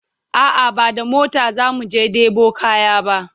a'a ba da mota zamu je ɗebo kaya ba